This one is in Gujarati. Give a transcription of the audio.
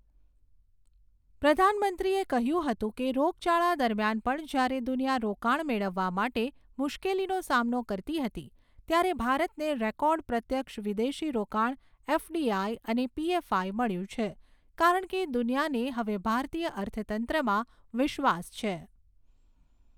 પ્રધાનમંત્રીએ કહ્યું હતું કે, રોગચાળા દરમિયાન પણ જ્યારે દુનિયા રોકાણ મેળવવા માટે મુશ્કેલીનો સામનો કરતી હતી, ત્યારે ભારતને રેકોર્ડ પ્રત્યક્ષ વિદેશી રોકાણ એફડીઆઈ અને પીએફઆઈ મળ્યું છે, કારણ કે દુનિયાને હવે ભારતીય અર્થતંત્રમાં વિશ્વાસ છે.